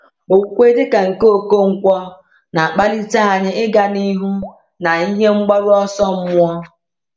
Okwukwe dị ka nke Okonkwo na-akpalite anyị ịga n’ihu na ihe mgbaru ọsọ mmụọ.